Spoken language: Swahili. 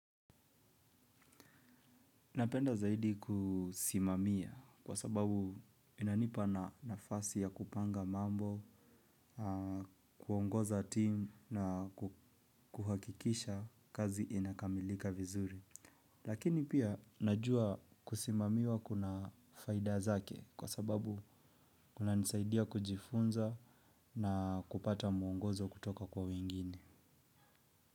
Napenda zaidi kusimamia kwa sababu inanipa nafasi ya kupanga mambo, kuongoza team na kuhakikisha kazi inakamilika vizuri. Lakini pia najua kusimamiwa kuna faida zake kwa sababu kunanisaidia kujifunza na kupata muongozo kutoka kwa wengine.